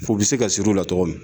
Fu bɛ se ka siri u la cogo min